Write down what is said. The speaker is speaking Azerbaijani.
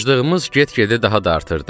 Aclığımız get-gedə daha da artırdı.